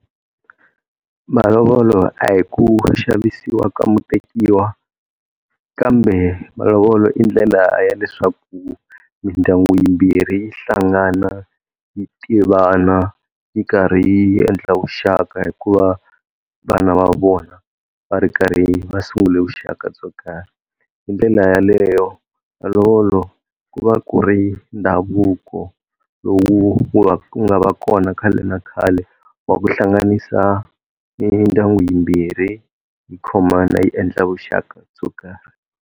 Malovolo a hi ku xavisiwa ka mutekiwa kambe malovolo i ndlela ya leswaku mindyangu yimbirhi yi hlangana yi tivana yi karhi yi endla vuxaka hikuva vana va vona va ri karhi va sungule vuxaka byo karhi. Hindlela yaleyo malovolo ku va ku ri ndhavuko lowu nga va kona khale na khale wa ku hlanganisa mindyangu yimbirhi yi khomana yi endla vuxaka byo karhi.